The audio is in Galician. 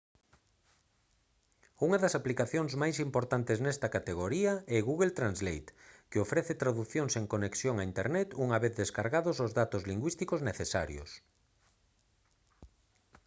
unha das aplicacións máis importantes nesta categoría é google translate que ofrece tradución sen conexión a internet unha vez descargados os datos lingüísticos necesarios